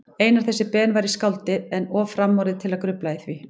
Einar þessi Ben væri skáldið, en of framorðið til að grufla í því.